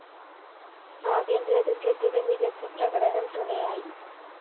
ആഭ്യന്തര ക്രിക്കറ്റിലെ മികച്ച പ്രകടനം തുണയായി